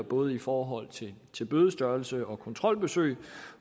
både i forhold til bødestørrelser og kontrolbesøg